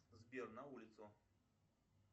сбер на улицу